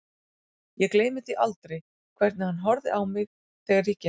Ég gleymi því aldrei hvernig hann horfði á mig þegar ég gekk inn.